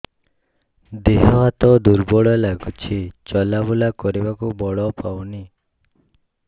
ଦେହ ହାତ ଦୁର୍ବଳ ଲାଗୁଛି ଚଲାବୁଲା କରିବାକୁ ବଳ ପାଉନି